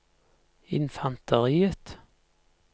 infanteriet